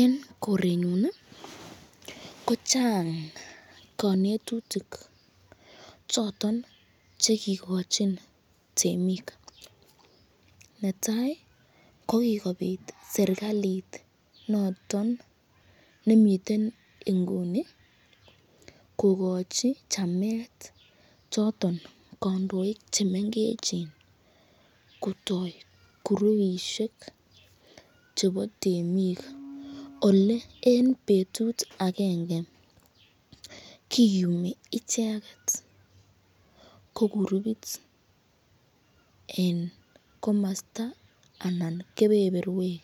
En korenyun ii kochang konetutik chotonche kigochin temik. Netai ko kigobit serkalit noton nemiten inguni kogochi chamet choton kondoik che mengechen kotoi kurupishek chebo temik, ole en betut agenge kiyumi icheget ko kurupit en komosta anan kebeberwek